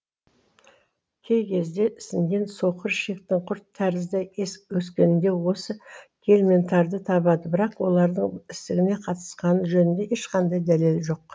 кей кезде ісінген соқыр ішектің құрт тәрізді өскенде осы гельминттарды табады бірақ олардың ісініге қатысқаны жөнінде ешқандай дәлел жоқ